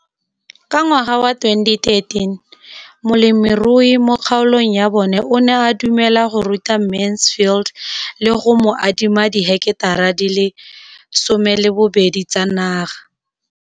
Ka ngwaga wa 2013, molemirui mo kgaolong ya bona o ne a dumela go ruta Mansfield le go mo adima di heketara di le 12 tsa naga.